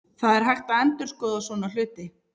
Það er hægt að endurskoða svona hluti.